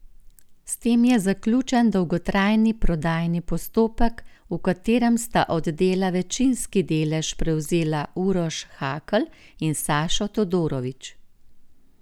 S tem je zaključen dolgotrajni prodajni postopek, v katerem sta od Dela večinski delež prevzela Uroš Hakl in Sašo Todorović.